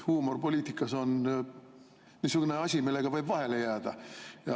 Huumor poliitikas on niisugune asi, millega võib vahele jääda.